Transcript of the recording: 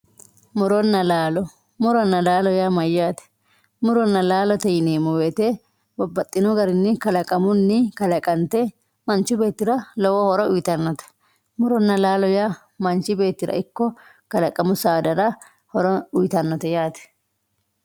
muronna laalo. muronna laalo yaa mayyaate muronna laalote yineemmo woyiite babbaxxitino garinni kalaqamunni kalaqante manchi beettira lowo horo uyiitannote muronna laalo yaa manchi beettira ikko kalaqamu saadara horo uyiitannote.